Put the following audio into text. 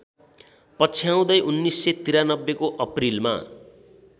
पछ्याउँदै १९९३ को अप्रिलमा